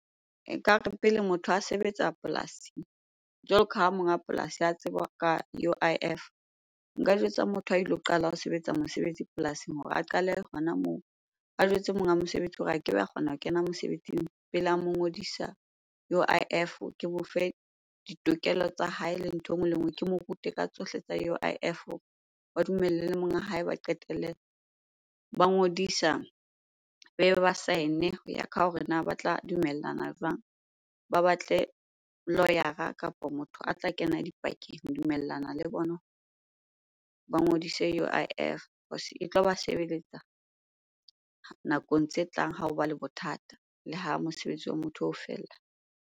Nkare pele motho a sebetsa polasi, jwalo ka ha monga polasi a tseba ka U_I_F. Nka jwetsa motho a ilo qala ho sebetsa mosebetsi polasing hore a qale hona moo. A jwetse monga mosebetsi hore a kebe a kgona ho kena mosebetsing pele a mo ngodisa U_I_F. Ke mo fe ditokelo tsa hae le ntho e nngwe le nngwe, ke mo rute ka tsohle tsa U_I_F. Ba le monga hae, ba qetele ba ngodisa, ba be ba sign-e hoya ka hore na ba tla dumellana jwang? Ba batle lawyer-ra kapo motho a tla kena dipakeng ho dumellana le bona ba ngodise U_I_F cause e tlo ba sebeletsa nakong tse tlang ha hoba le bothata le ha mosebetsi wa motho oo o fela.